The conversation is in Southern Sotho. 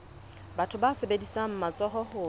batho ba sebedisang matsoho ho